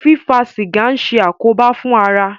Fífa sìgá ń ṣe àkóbá fún ara.